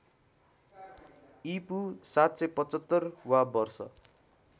ईपू ८७५ वा वर्ष